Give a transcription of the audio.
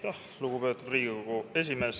Aitäh, lugupeetud Riigikogu esimees!